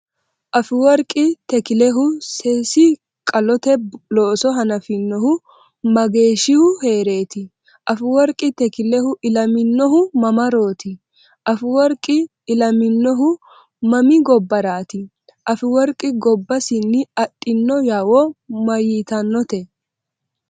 Afeworqi Takilehu seesi-qalote looso hanafinohu mageeshshihu hee’reeti? Afeworqi Takilehu ilaminohu mamarooti? Afeworqi ilaminohu mami gobbarati? Afeworqi gobbasinni adhino yawo mayitannote?